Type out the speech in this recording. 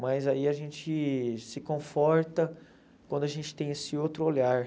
Mas aí a gente se conforta quando a gente tem esse outro olhar.